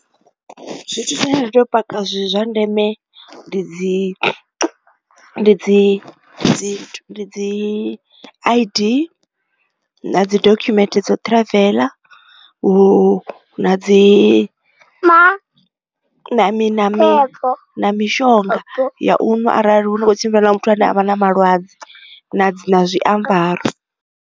Zwithu zwine nda teo paka zwi zwa ndeme ndi dzi dzi dzi dzi I_D na dzi dokhumenthe dzo travel na dzi na mini na na mishonga ya u ṅwa arali hu kho tshimbila na muthu ane avha na malwadze na dzi na zwi zwiambaro.